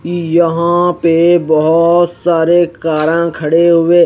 यहा पे बहोत सारे कारा खडे हुए--